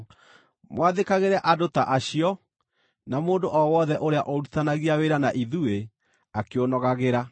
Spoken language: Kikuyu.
mwathĩkagĩre andũ ta acio, na mũndũ o wothe ũrĩa ũrutithanagia wĩra na ithuĩ, akĩũnogagĩra.